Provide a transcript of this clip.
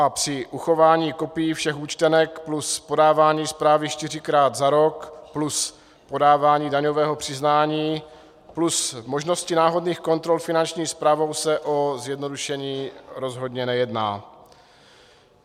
A při uchování kopií všech účtenek plus podávání zprávy čtyřikrát za rok plus podávání daňového přiznání plus možnosti náhodných kontrol Finanční správou se o zjednodušení rozhodně nejedná.